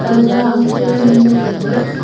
parda am chu wai ngan ley tailey.